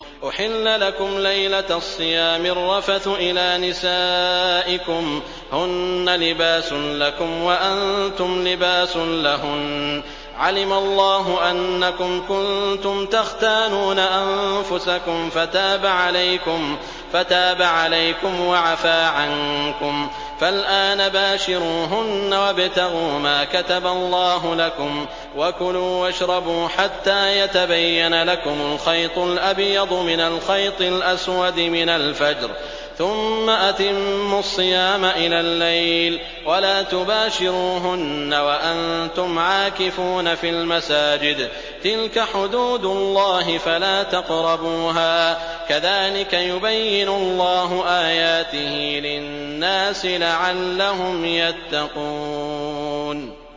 أُحِلَّ لَكُمْ لَيْلَةَ الصِّيَامِ الرَّفَثُ إِلَىٰ نِسَائِكُمْ ۚ هُنَّ لِبَاسٌ لَّكُمْ وَأَنتُمْ لِبَاسٌ لَّهُنَّ ۗ عَلِمَ اللَّهُ أَنَّكُمْ كُنتُمْ تَخْتَانُونَ أَنفُسَكُمْ فَتَابَ عَلَيْكُمْ وَعَفَا عَنكُمْ ۖ فَالْآنَ بَاشِرُوهُنَّ وَابْتَغُوا مَا كَتَبَ اللَّهُ لَكُمْ ۚ وَكُلُوا وَاشْرَبُوا حَتَّىٰ يَتَبَيَّنَ لَكُمُ الْخَيْطُ الْأَبْيَضُ مِنَ الْخَيْطِ الْأَسْوَدِ مِنَ الْفَجْرِ ۖ ثُمَّ أَتِمُّوا الصِّيَامَ إِلَى اللَّيْلِ ۚ وَلَا تُبَاشِرُوهُنَّ وَأَنتُمْ عَاكِفُونَ فِي الْمَسَاجِدِ ۗ تِلْكَ حُدُودُ اللَّهِ فَلَا تَقْرَبُوهَا ۗ كَذَٰلِكَ يُبَيِّنُ اللَّهُ آيَاتِهِ لِلنَّاسِ لَعَلَّهُمْ يَتَّقُونَ